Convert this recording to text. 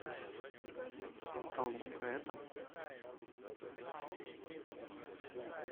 толока это